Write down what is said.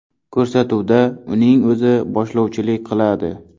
Ko‘rsatuvda uning o‘zi boshlovchilik qiladi.